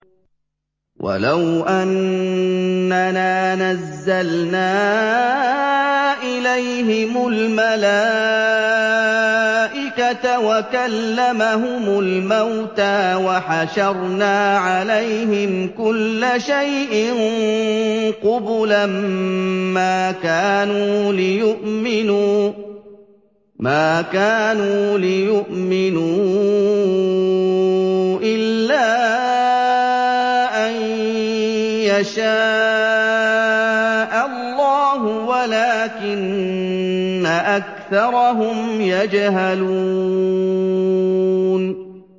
۞ وَلَوْ أَنَّنَا نَزَّلْنَا إِلَيْهِمُ الْمَلَائِكَةَ وَكَلَّمَهُمُ الْمَوْتَىٰ وَحَشَرْنَا عَلَيْهِمْ كُلَّ شَيْءٍ قُبُلًا مَّا كَانُوا لِيُؤْمِنُوا إِلَّا أَن يَشَاءَ اللَّهُ وَلَٰكِنَّ أَكْثَرَهُمْ يَجْهَلُونَ